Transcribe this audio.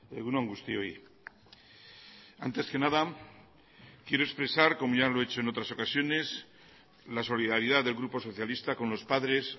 egun on guztioi antes que nada quiero expresar como ya lo he hecho en otras ocasiones la solidaridad del grupo socialista con los padres